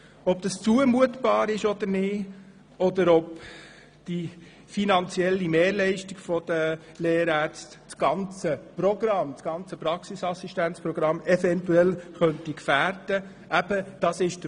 Wir haben diskutiert, ob das zumutbar ist oder nicht und ob die finanzielle Mehrbelastung der Lehrärztinnen und Lehrärzte das ganze Praxisassistenzmodell eventuell gefährden könnte.